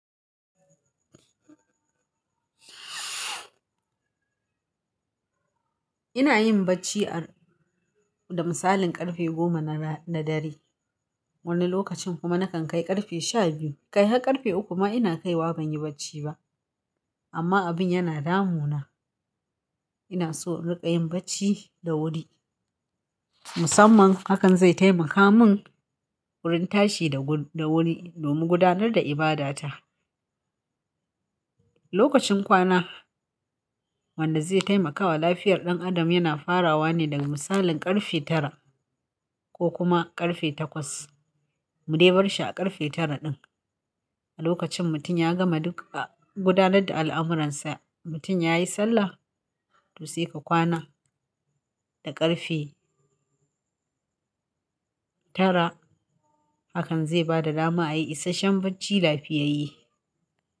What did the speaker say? Ina yin bacci a da misalin ƙarfe goma na dare wani lokacin kuma nakan kai ƙarfe shabiyu. Kai har ƙarfe uku ma ina kaiwa ban yi bacci ba amma abin yana damuna. Ina so in riƙa yin bacci da wuri musamman hakan zai taimaka min wurin tashi da wuri domin gudanar da ibadata. Lokacin kwana wanda zai taimakawa lafiyar ɗan adam yana farawa ne daga misalin ƙarfe tara ko kuma ƙarfe takwas. Mu dai bar shi a ƙarfe tara ɗin. A lokacin mutum ya gama duka gudanar da al'amuransa, mutum ya yi sallah to sai ka kwana da ƙarfe tara hakan zai ba da dama a yi isashen bacci lafiyayye.